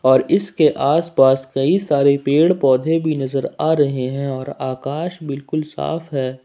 और इसके आसपास कई सारे पेड़ पौधे भी नजर आ रहे हैं और आकाश बिल्कुल साफ है।